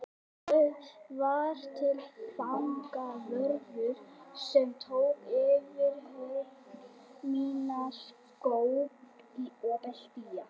Kallaður var til fangavörður sem tók yfirhöfn mína, skó og belti.